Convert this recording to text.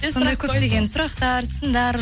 сондай көптеген сұрақтар сындар